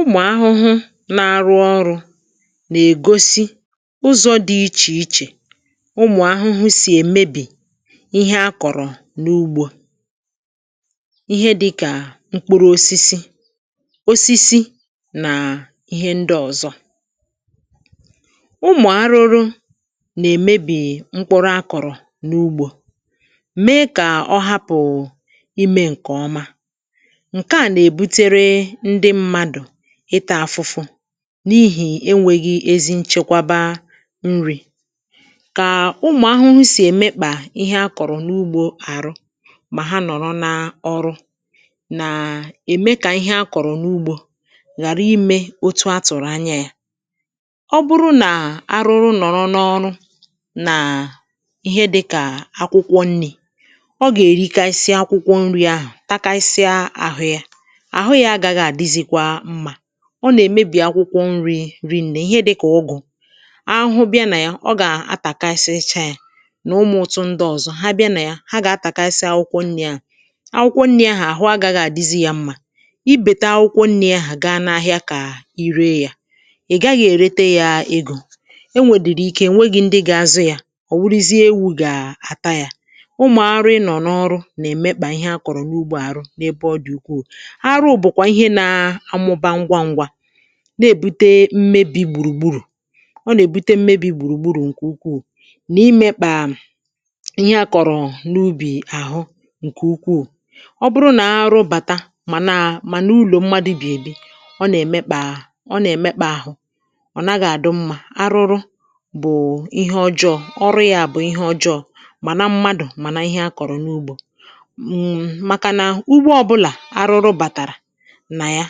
"Umụ ahụhụ na-arụ ọrụ̇ nà-ègosi ụzọ̇ dị̇ ichè ichè ụmụ̀ ahụhụ sì èmebì ihe a kọ̀rọ̀ n’ugbȯ. Ihe dị̇ kà mkpụrụ̇ osisi, osisi nà ihe ndị ọ̀zọ. Ụmụ̀ arụrụ nà-èmebì mkpụrụ a kọ̀rọ̀ n’ugbȯ mèè kà ọ hapụ ìme nkè ọma. Nkè a nà-èbutere ndị mmadụ ịtȧ afụ̇fụ̇ n’ihì enwėghi̇ ezi nchekwaba nri̇. Kà ụmụ̀ ahụhụ sì èmekpà ihe akọ̀rọ̀ n’ugbȯ àrụ mà ha nọ̀rọ n’ọrụ nàà ème kà ihe akọ̀rọ̀ n’ugbȯ ghàra imė otu̇ atụ̀rụ̀ anya yȧ. Ọ bụrụ nà arụrụ nọ̀rọ n’ọrụ nàà ihe dị̇kà akwụkwọ nni̇, ọ gà-èrikasi akwụkwọ nni̇ ahụ̀ takasịa àhụ yȧ. Àhụ yà agaghị̀ adịzịkwà nmà, ọ nà-èmebì akwụkwọ nni̇ rìnnè; ihe dịkà ụgụ̀ ahụhụ bịa nà ya ọ gà-àtàkasịcha nà ụmụ̀ ụ́tụ ndị ọzọ ha bịa nà ya ha gà-àtàkasị akwụkwọ nni̇ à. Akwụkwọ nni̇ ahụhụ agaghị̇ àdizi ya mmȧ, i bèta akwụkwọ nri̇ ahụhụ gaa n’ahịa kà i ree yȧ, ì gaghị̇ èrète ya egȯ, e nwèdìrì ike enwėghi̇ ndị ga-azụ yȧ ọ̀ wụrụzie ewu̇ gà-àta yà. Umụ̀ arụ ị nọ̀ n’ọrụ nà èmekpà ihe a kọ̀rọ̀ n’ugbo àrụ n’ebe ọ dị̀ ukwuù. Àrụ bụ̀kwà ihe nȧ amụba ngwa ngwa, na-èbute mmebi̇ gbùrùgburù ọ nà-èbute mmebi̇ gbùrùgburù ǹkè ukwuù, nà imekpà ihe à kọ̀rọ̀ n’ubì àhụ ǹkè ukwuù. Ọ bụrụ nà a rụbàta màna màna ulò mmadụ̇ bì èbi ọ nà-èmekpà ọ nà-èmekpà àhụ, ọ nàghà dụ mmȧ arụrụ bụ̀ ihe ọjọọ, ọrụ yȧ bụ̀ ihe ọjọọ màna mmadụ̀ mànà ihe akọ̀rọ̀ n’ugbȯ[um]. Màkà nà ugbo ọbụlà arụrụ bàtàrà na yà,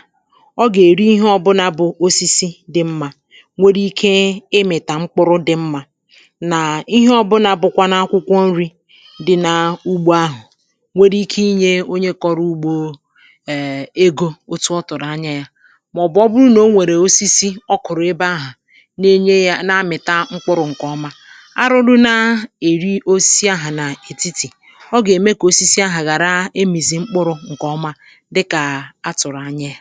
ọ gà-èri ihe ọbụnȧ bụ̀ osisi dị mmȧ nwere ike ịmìtà mkpụrụ dị̇ mmȧ, nà ihe ọbụnȧ bụ̀kwa na akwụkwọ nri̇ dị n’ugbȯ ahụ̀ nwere ike inyė onye kọrọ ugbȯ um ego otu ọ tụ̀rụ̀ anya yȧ ;màọ̀bụ̀ ọ bụrụ nà o nwèrè osisi ọ kụ̀rụ̀ ebe ahà na-enye yȧ na-amị̀ta mkpụrụ̇ ǹkèọma. Arụrụ na-èri osisi ahụ̀ nà ètitì, ọ gà-ème kà osisi ahụ̀ ghàra ịmìzi mkpụrụ̇ ǹkèọma dìka á tụrụ ányà yà. "